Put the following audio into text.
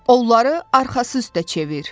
Onları arxası üstə çevir!